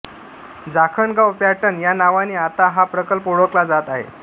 Jakhangaon pattern या नावाने आता हा प्रकल्प ओळखला जात आहे